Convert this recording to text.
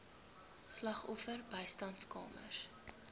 slagoffer bystandskamers